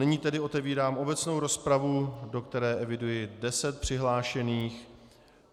Nyní tedy otevírám obecnou rozpravu, do které eviduji deset přihlášených.